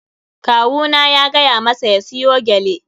Kawu na ya gaya masa ya siyo gyale.